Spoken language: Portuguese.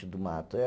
do mato.